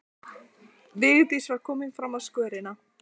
Vigdís var komin fram á skörina.